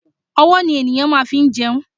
Ọwọ́ ni ènìyàn fi máa ń jẹun.